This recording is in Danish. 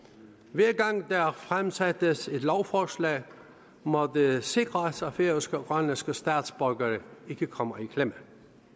hver gang der fremsættes et lovforslag må det sikres at færøske og grønlandske statsborgere ikke kommer i klemme